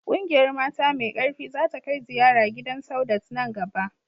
Ƙungiyar mata mai ƙarfi za ta kai ziyara gidan Saudat nan gaba